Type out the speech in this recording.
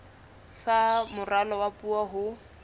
sa moralo wa puo ho